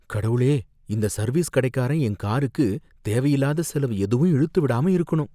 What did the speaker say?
கடவுளே! இந்த சர்வீஸ் கடைக்காரன் என் காருக்கு தேவையில்லாத செலவு எதுவும் இழுத்து விடாம இருக்கணும்